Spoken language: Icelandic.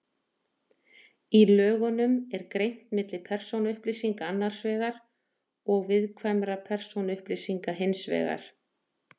í lögunum er greint milli persónuupplýsinga annars vegar og viðkvæmra persónuupplýsinga hins vegar